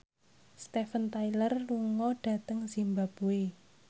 Steven Tyler lunga dhateng zimbabwe